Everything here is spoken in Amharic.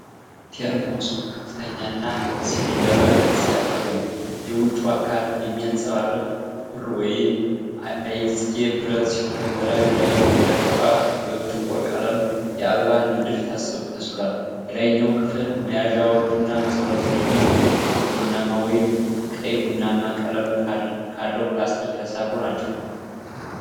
ቴርሞሱ ከፍተኛና ሲሊንደራዊ ቅርጽ ያለው ነው። የውጪው አካል የሚያብረቀርቅ ብርወይም አይዝጌ ብረት ሲሆን፣ በላዩ ላይ በግራጫ/ጥቁር ቀለም የአበባ ንድፍ ተስሏል። የላይኛው ክፍል፣ መያዣዎቹእና መሠረቱ ደግሞ ጥቁር ቡናማ ወይም ቀይ ቡናማ ቀለም ካለው ፕላስቲክ የተሰሩ ናቸው።